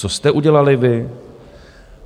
Co jste udělali vy?